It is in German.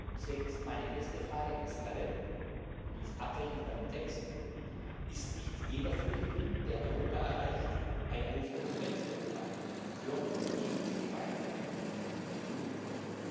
Deswegen ist meine erste Frage an uns alle übrigens abweichend von meinem Text Ist nicht jeder Flüchtling, der Europa erreicht, eine Aufgabe für ganz Europa, für die gemeinsame Union?